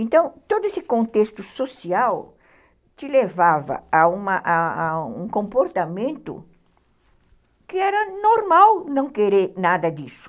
Então, todo esse contexto social te levava a uma a um comportamento que era normal não querer nada disso.